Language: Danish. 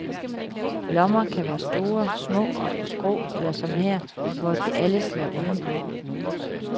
Lommer kan være store, små og på skrå, eller som her, hvor de alle sidder uden på.